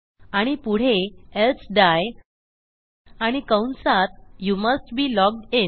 आणि पुढे एल्से dieआणि कंसात you must be logged in